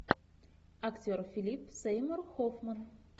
актер филип сеймур хоффман